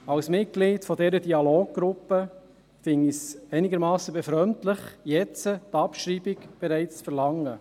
Als Mitglied dieser Dialoggruppe finde ich es einigermassen befremdlich, jetzt bereits die Abschreibung zu verlangen.